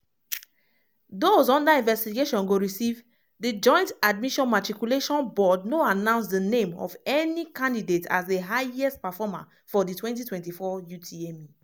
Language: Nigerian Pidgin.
those under investigation go receive: di joint admission matriculation board no announce di name of any candidate as di highest-performer for di 2024 utme.